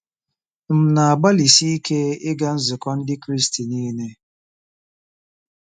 M̀ na-agbalịsi ike ịga nzukọ Ndị Kraịst niile?